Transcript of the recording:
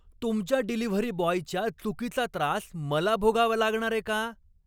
तुमच्या डिलिव्हरी बॉयच्या चुकीचा त्रास मला भोगावा लागणारे का?